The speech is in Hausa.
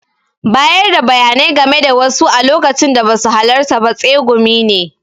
Bayarda bayanai game da wasu a lokacin da basu halarta ba tsegumi ne.